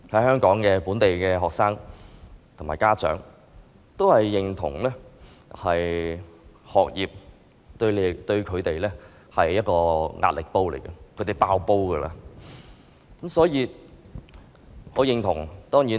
香港本地學生和家長壓倒性地認同，學業對他們而言是一個壓力煲，他們快要"爆煲"了。